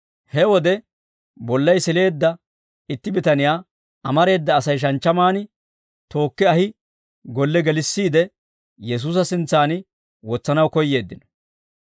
He wode bollay sileedda itti bitaniyaa amareeda Asay shanchchamaan tookki ahi golle gelissiide Yesuusa sintsan wotsanaw koyyeeddino.